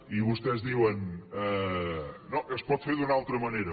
i vostès diuen no es pot fer d’una altra manera